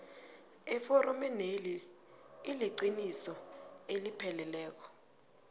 eforomeneli iliqiniso elipheleleko